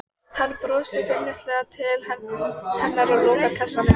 Ólafur Tómasson fylgdi fast á eftir fóstra sínum.